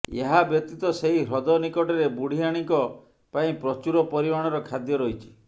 ଏହା ବ୍ୟତୀତ ସେହି ହ୍ରଦ ନିକଟରେ ବୁଢିଆଣୀଙ୍କ ପାଇଁ ପ୍ରଚୁର ପରିମାଣର ଖାଦ୍ୟ ରହିଛି